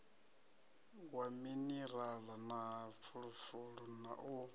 wa minirala na fulufulu u